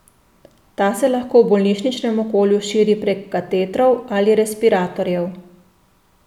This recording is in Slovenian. Ta se lahko v bolnišničnem okolju širi prek katetrov ali respiratorjev.